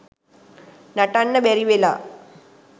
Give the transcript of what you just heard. නටන්න බැරි වෙලා